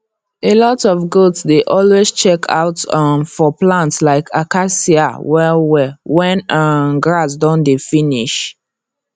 alot of goats dey always check out um for plants like acacia well well wen um grass don dey finish